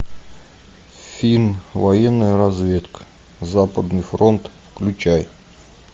фильм военная разведка западный фронт включай